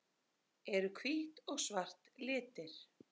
Eru hvítt og svart litir?